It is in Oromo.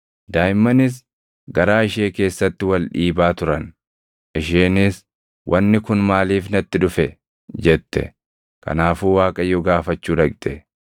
Daaʼimmanis garaa ishee keessatti wal dhiibaa turan; isheenis, “Wanni kun maaliif natti dhufe?” jette; kanaafuu Waaqayyo gaafachuu dhaqxe.